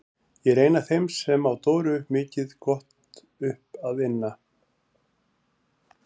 Ég er ein af þeim sem á Dóru mikið gott upp að inna.